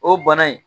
O bana in